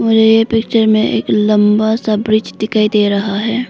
मुझे ये पिक्चर में एक लंबा सा ब्रिज दिखाई दे रहा है।